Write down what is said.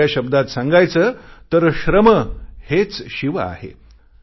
दुसऱ्या शब्दांत सांगायचे तर श्रम हेच शिव आहे